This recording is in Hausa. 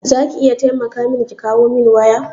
za ki iya taimaka min ki kawo min waya?